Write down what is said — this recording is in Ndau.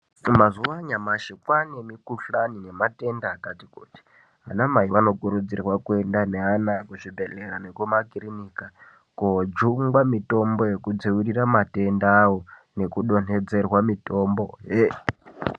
Mazuwa anyamashi kwaane mikhuhlani nematenda akati kuti. Anamai vanokurudzirwa kuenda neana kuzvibhehlera nekumakirinika, koojungwa mitombo yekudzivirira matendawo, nekudonhedzerwa mitombohe.